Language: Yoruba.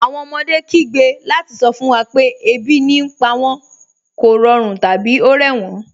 Awọn ọmọdé kìí gbẹ́ lati sọ fun wa pẹ̀ ẹbi ní pa wọn, kọ̀rọ̀run, tabi o rẹ wọn.